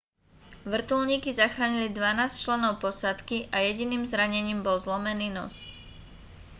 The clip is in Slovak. vrtuľníky zachránili dvanásť členov posádky a jediným zranením bol zlomený nos